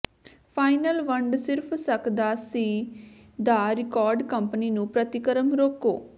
final ਵੰਡ ਸਿਰਫ ਸਕਦਾ ਸੀ ਦਾ ਰਿਕਾਰਡ ਕੰਪਨੀ ਨੂੰ ਪ੍ਰਤੀਕਰਮ ਰੋਕੋ